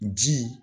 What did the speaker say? Ji